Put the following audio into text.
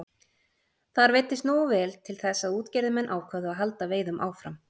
Þar veiddist nógu vel til þess að útgerðarmenn ákváðu að halda veiðum áfram.